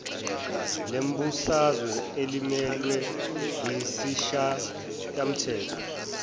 lezombusazwe elimelwe yisishayamthetho